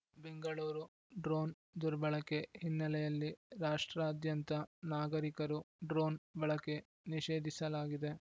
Bengaluru drone ದುರ್ಬಳಕೆ ಹಿನ್ನೆಲೆಯಲ್ಲಿ ರಾಷ್ಟ್ರಾ ದ್ಯಂತ ನಾಗರಿಕರು ಡ್ರೋನ್‌ ಬಳಕೆ ನಿಷೇಧಿಸಲಾಗಿದೆ